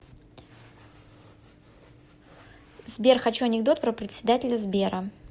сбер хочу анекдот про председателя сбера